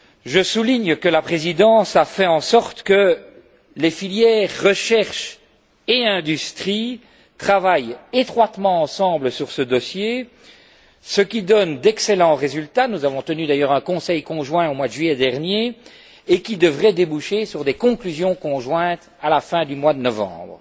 Je souligne que la Présidence a fait en sorte que les filières recherche et industrie travaillent étroitement ensemble sur ce dossier, ce qui donne d'excellents résultats nous avons tenu d'ailleurs un Conseil conjoint au mois de juillet dernier, lequel devrait déboucher sur des conclusions conjointes à la fin du mois de novembre.